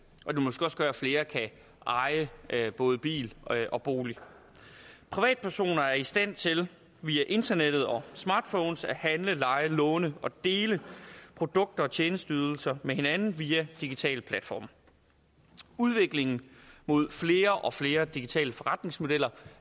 måske også gøre at flere kan eje både bil og bolig privatpersoner er i stand til via internettet og smartphones at handle leje låne og dele produkter og tjenesteydelser med hinanden via digitale platforme udviklingen mod flere og flere digitale forretningsmodeller